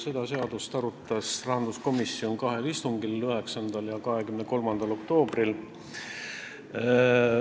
Seda seadust arutas rahanduskomisjon kahel istungil: 9. ja 23. oktoobril.